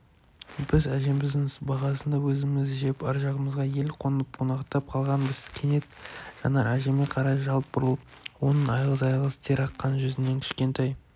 біз әжеміздің сыбағасын да өзіміз жеп ар жағымызға ел қонып қунақтап қалғанбыз кенет жанар әжеме қарай жалт бұрылып оның айғыз-айғыз тер аққан жүзінен кішкентай